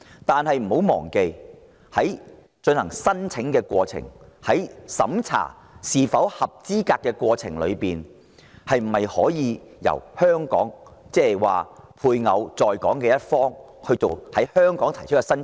但不要忘記，在提出申請及審查申請人資格方面，可否由香港作主導，例如由在港一方的家屬在香港提出申請？